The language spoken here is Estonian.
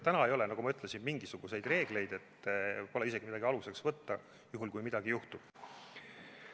Täna ei ole, nagu ma ütlesin, mingisuguseid reegleid, pole isegi midagi aluseks võtta, kui midagi juhtub.